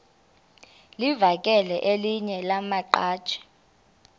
livakele elinye lamaqhaji